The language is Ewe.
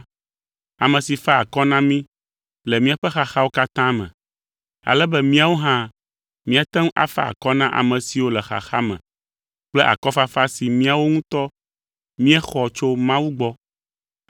ame si fa akɔ na mí le míaƒe xaxawo katã me, ale be míawo hã míate ŋu afa akɔ na ame siwo le xaxa me kple akɔfafa si míawo ŋutɔ míexɔ tso Mawu gbɔ.